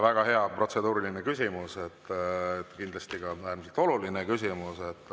Väga hea protseduuriline küsimus, kindlasti ka äärmiselt oluline küsimus.